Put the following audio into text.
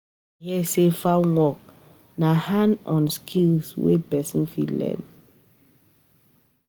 I hear sey farm work na hand-on skill wey pesin fit learn.